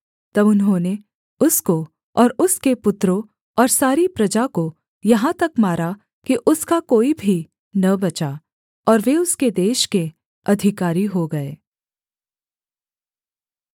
तब उन्होंने उसको और उसके पुत्रों और सारी प्रजा को यहाँ तक मारा कि उसका कोई भी न बचा और वे उसके देश के अधिकारी हो गए